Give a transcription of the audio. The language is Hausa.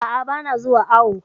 A'a, ba na zuwa awo